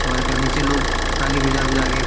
और एकर निचे लोग ताली बजा-बजा के --